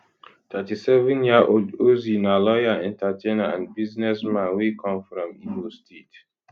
37yearold ozee na lawyer entertainer and businessman wey come from imo state